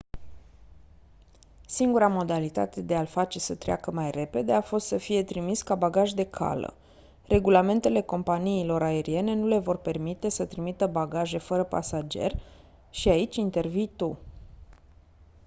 singura modalitate de a-l face să treacă mai repede a fost să fie trimis ca bagaj de cală regulamentele companiilor aeriene nu le vor permite să trimită bagaje fără pasager și aici intervii tu